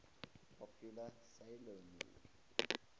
popular 'sailor moon